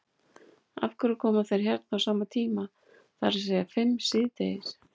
Af hverju koma þeir hérna á sama tíma, það er að segja fimm síðdegis?